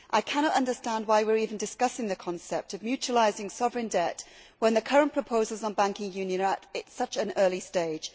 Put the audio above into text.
I cannot understand why we are even discussing the concept of mutualising sovereign debt when the current proposals on banking union are at such an early stage.